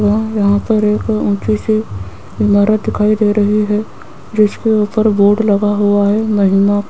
व यहां पर एक ऊंची सी इमारत दिखाई दे रही है जिसके ऊपर बोर्ड लगा हुआ है महिमा --